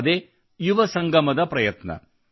ಅದೇ ಯುವ ಸಂಗಮದ ಪ್ರಯತ್ನ